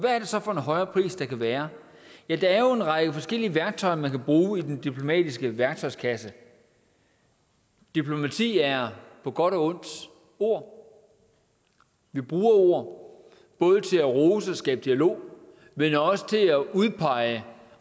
er det så for en højere pris der kan være ja der er jo en række forskellige værktøjer man kan bruge i den diplomatiske værktøjskasse diplomati er på godt og ondt ord vi bruger ord både til at rose og skabe dialog men også til at udpege